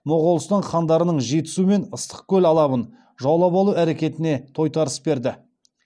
моғолстан хандарының жетісу мен ыстықкөл алабын жаулап алу әрекетіне тойтарыс берді